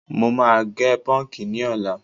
Mo máa gẹ pọ́ǹkì ní ọ̀la.